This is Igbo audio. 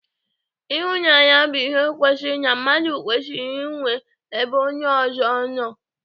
Ịhụnanya bụ ihe kwesịrị na mmadụ kwesịrị inwe ebe onye ọzọ nọ.